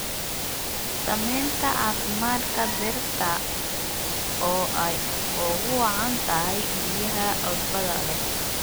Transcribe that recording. Saamaynta caafimaadka dhirta oo ay ugu wacan tahay biyaha cusbada leh.